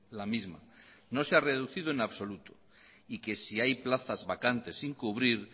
la misma no se ha reducido en absoluto y que si hay plazas vacantes sin cubrir